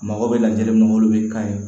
A mago bɛ lajɛli min na olu bɛ kan ye